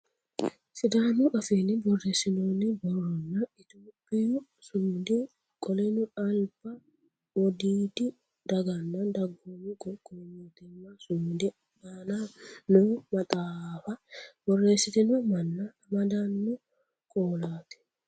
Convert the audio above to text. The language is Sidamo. Sidaamu afiinni borreessinoonni borronna itiyophiyu sumudi qoleno alba wodiidi daganna dagoomi qoqqowi mootimma sumudi aanaho noo maxaafa borreessitino manna amadanno qoolaati.